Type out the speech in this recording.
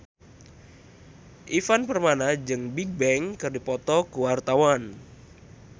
Ivan Permana jeung Bigbang keur dipoto ku wartawan